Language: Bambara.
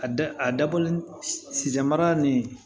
A da a dabɔ si mara ni